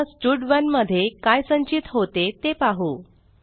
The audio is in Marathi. आता स्टड1 मध्ये काय संचित होते ते पाहू